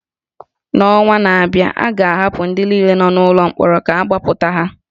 N’ọnwa na-abịa, a ga-ahapụ ndị niile nọ n’ụlọ mkpọrọ ka agbapụta ha